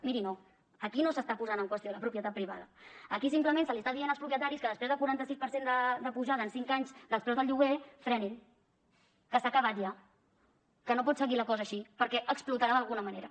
miri no aquí no s’està posant en qüestió la propietat privada aquí simplement se’ls està dient als propietaris que després del quaranta sis per cent d’apujada en cinc anys dels preus del lloguer frenin que s’ha acabat ja que no pot seguir la cosa així perquè explotarà d’alguna manera